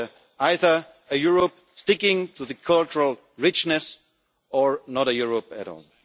this regard. It is either a Europe sticking to its cultural richness, or not a Europe